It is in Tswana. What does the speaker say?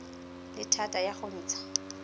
le thata ya go ntsha